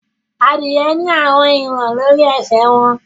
Adie ní àwọn ìwọn lórí esè wón.